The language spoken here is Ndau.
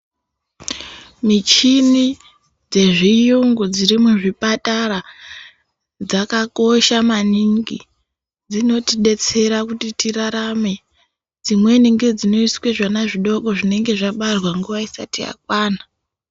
Michini dze zviyungu dziri mu zvipatara dzaka kosha maningi dzinoti detsera kuti tirarame dzimweni ngedzino iswe zvana zvidoko zvinenge zvabarwa nguva isati yakwana.